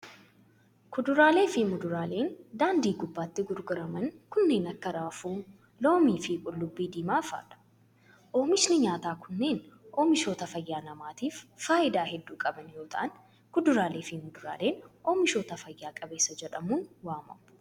Kuduraalee fi muduraaleen daandii gubbaatti gurguraman kunneen kan akka:raafuu, loomii fi qullubbii diimaa faa dha. Oomishoonni nyaataa kunneen, oomishoota fayyaa namaatif faayidaa hedduu qaban yoo ta'an, kuduraalee fi muduraaleen oomishoota fayya qabeessa jedhamuun waamamu.